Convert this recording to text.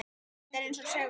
Þetta er eins og segull.